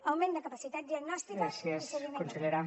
augment de capacitat diagnòstica i seguiment